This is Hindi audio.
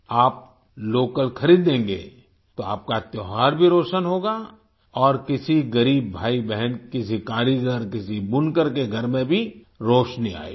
आप लोकल खरीदेंगे तो आपका त्योहार भी रोशन होगा और किसी गरीब भाईबहन किसी कारीगर किसी बुनकर के घर में भी रोशनी आएगी